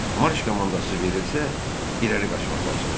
Marş komandası verilsə, irəli qaçmaq lazımdır.